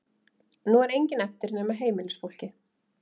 Nú er enginn eftir nema heimilisfólkið.